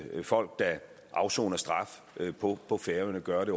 folk der afsoner straf på på færøerne gør det